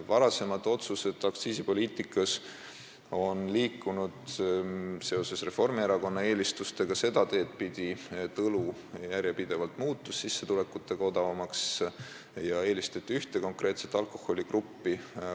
Varasemad otsused aktsiisipoliitikas on liikunud Reformierakonna eelistuste tõttu seda teed pidi, et õlu muutus sissetulekutega võrreldes järjepidevalt odavamaks ja eelistati ühte konkreetset alkohoolsete jookide gruppi.